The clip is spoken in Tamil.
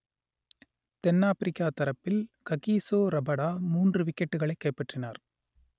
தென் ஆப்பிரிக்கா தரப்பில் ககிசோ ரபடா மூன்று விக்கெட்டுகளை கைப்பற்றினார்